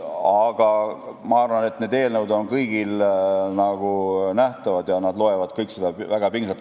Aga ma arvan, et need eelnõud on kõigile nähtavad ja nad loevad kõik neid väga pingsalt.